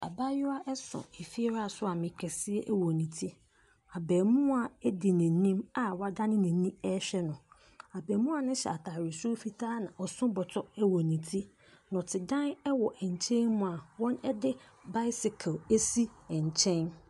Abayewa so efiewurasoame kɛseɛ wɔ ne ti. Abaamua di n'anim a wadane n'ani rehwɛ no. Abaamua no hyɛ atare soro fitaa na ɔso bɔtɔ wɔ ne ti. Nnɔtedan wɔ nkyɛn mu a wɔde bicycle asi nkyɛn.